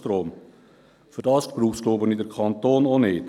Dafür braucht es meines Erachtens den Kanton auch nicht.